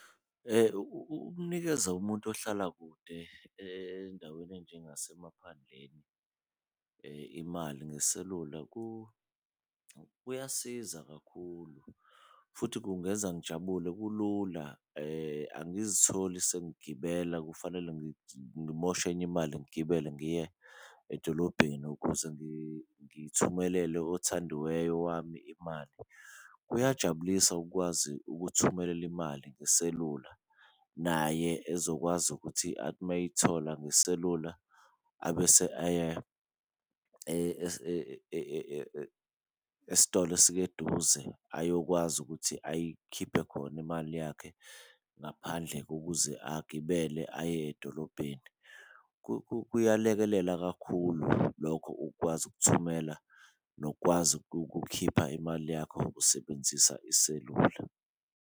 Ukunikeza umuntu ohlala kude endaweni enjengasemaphandleni imali ngeselula kuyasiza kakhulu, futhi kungenza ngijabule kulula angizitholi sengigibela kufanele ngimoshe enye imali ngigibele ngiye edolobheni, ukuze ngithumelele othandiweyo wami imali. Kuyajabulisa ukukwazi ukuthumelela imali ngeselula naye ezokwazi ukuthi athi mayeyithola ngeselula abese aye esitolo eduze ayokwazi ukuthi ayikhiphe khona imali yakhe ngaphandle kokuze agibele aye edolobheni. Kuyalekelela kakhulu lokho ukukwazi ukuthumela nokukwazi ukukhipha imali yakho usebenzisa iselula.